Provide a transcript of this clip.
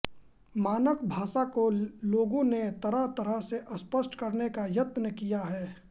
मानक भाषा को लोगों ने तरहतरह से स्पष्ट करने का यत्न किया है